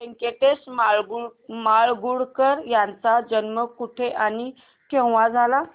व्यंकटेश माडगूळकर यांचा जन्म कुठे आणि केव्हा झाला